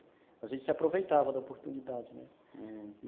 Mas a gente se aproveitava da oportunidade, né?